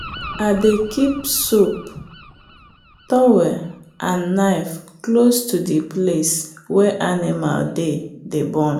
i dey keep soap towel and knife close to the place wey animal dey dey born.